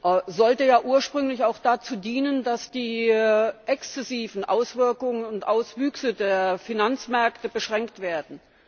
Er sollte ursprünglich auch dazu dienen, dass die exzessiven Auswirkungen und Auswüchse der Finanzmärkte beschränkt werden.